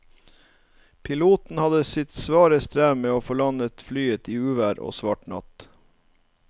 Piloten hadde sitt svare strev med å få landet flyet i uvær og svart natt.